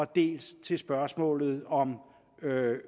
dels spørgsmålet om